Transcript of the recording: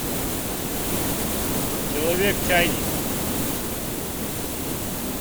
человек чайник